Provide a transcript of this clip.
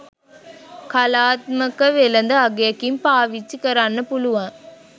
කලාත්මක වෙළඳ අගයකින් පාවිච්චි කරන්න පුළුවන්